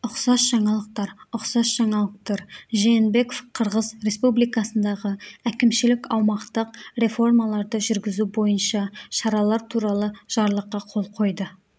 ұқсас жаңалықтар ұқсас жаңалықтар жээнбеков қырғыз республикасындағы әкімшілік-аумақтық реформаларды жүргізу бойынша шаралар туралы жарлыққа қол қойды